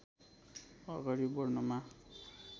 अगाडि बढ्नमा